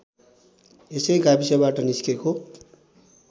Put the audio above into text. यसै गाविसबाट निस्केको